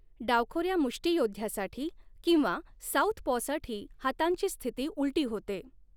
डावखोऱ्या मुष्टियोद्ध्यासाठी किंवा साउथपॉसाठी हातांची स्थिती उलटी होते.